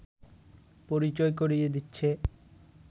পরিচয় করিয়ে দিচ্ছে